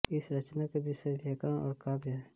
इस रचना का विषय व्याकरण और काव्य है